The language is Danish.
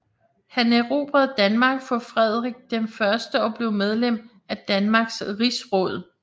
Han erobrede Danmark for Frederik I og blev medlem af Danmarks rigsråd